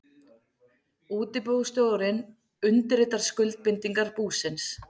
Útibússtjóri undirritar skuldbindingar búsins.